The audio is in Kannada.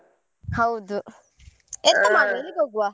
ಹೌದು ಎಲ್ಲಿಗೆ ಹೋಗುವ?